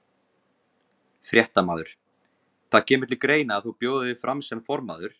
Fréttamaður: Það kemur til greina að þú bjóðir þig fram sem formaður?